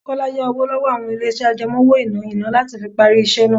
Kọ́lá yá owó lọ́wọ́ àwọn ilé iṣẹ́ àjẹmó-owó-ìná iná láti fi parí iṣẹ́ náà.